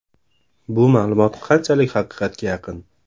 Bu ma’lumot qanchalik haqiqatga yaqin?